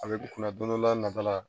A bɛ k'u kunna don dɔ la nata la